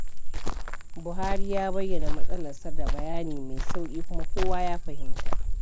Buhari ya bayyana matsalarsa da bayani mai sauƙi kuma kowa ya fahimta.